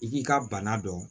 I k'i ka bana dɔn